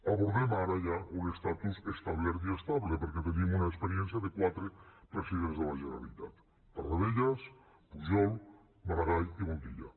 abordem ara ja un estatus establert i estable perquè tenim una experiència de quatre presidents de la generalitat tarradellas pujol maragall i montilla